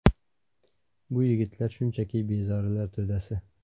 Bu yigitlar shunchaki bezorilar to‘dasi.